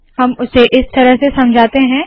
हम उसे इस तरह से समझाते है